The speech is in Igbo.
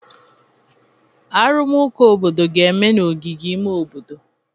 Arụmụka obodo ga-eme n'ogige ime obodo.